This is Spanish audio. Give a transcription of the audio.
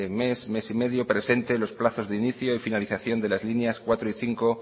mes y medio presente los plazos de inicio y finalización de las líneas cuatro y cinco